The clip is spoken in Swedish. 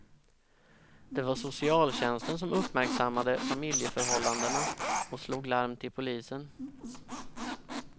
Det var socialtjänsten som uppmärksammade familjeförhållandena och slog larm till polisen.